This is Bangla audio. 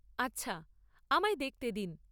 আচ্ছা, আমায় দেখতে দিন।